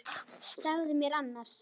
Segðu mér annars.